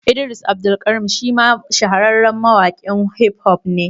Idris Abdulkarim shi ma shahararren mawaƙin Hif hof ne